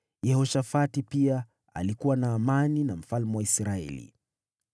Yehoshafati pia alikuwa na amani na mfalme wa Israeli.